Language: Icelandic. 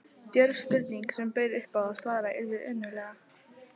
Djörf spurning, sem bauð upp á að svarað yrði önuglega.